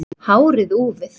Hárið úfið.